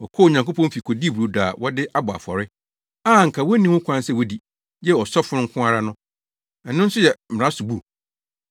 Wɔkɔɔ Onyankopɔn fi kodii brodo a wɔde abɔ afɔre, a anka wonni ho kwan sɛ wodi, gye ɔsɔfo nko ara no. Ɛno nso yɛ mmara so bu?